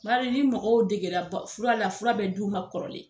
Bari ni mɔgɔw degere fura la fura bɛ du ma kɔrɔlen.